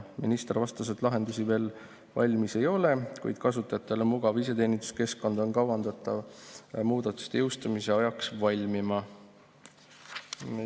Minister vastas, et lahendusi veel valmis ei ole, kuid kasutajatele mugav iseteeninduskeskkond on kavandatud muudatuste jõustumise ajaks valmima.